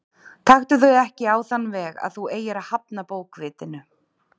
Taktu þau ekki á þann veg að þú eigir að hafna bókvitinu.